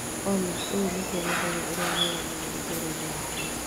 Olly, ũyũ nĩguo mũthenya ũrĩa mwega mũno ũtũũro-inĩ wakwa.